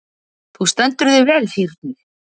Þú stendur þig vel, Sírnir!